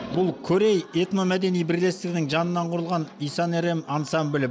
бұл корей этномәдени бірлестігінің жанынан құрылған иса на рем ансамблі